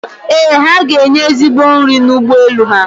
Ee, ha ga-enye ezigbo nri n'ụgbọ elu ha